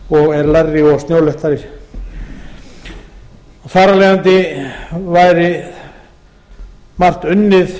og er lægri og snjóléttari þar af leiðandi væri margt unnið